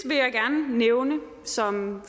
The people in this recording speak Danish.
vil jeg gerne nævne som